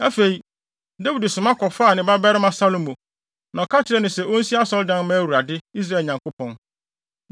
Afei, Dawid soma kɔfaa ne babarima Salomo, na ɔka kyerɛɛ no sɛ onsi asɔredan mma Awurade, Israel Nyankopɔn.